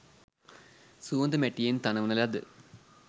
සුවඳ මැටියෙන් තනවන ලද